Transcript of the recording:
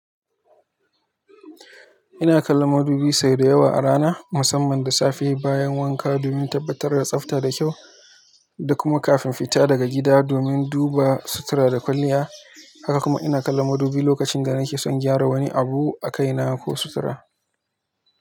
Ina kallon madubi sau da yawa a rana, musamman da safe bayan wanka domin tabbatar da tsafta da kyau da kuma kafin fita daga gida domin duba sutura da kwalliya. Haka kuma ina kallon madubi lokacin da nake son gyara wani abu a kaina ko sutura.